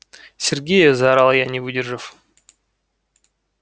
сергею заорала я не выдержав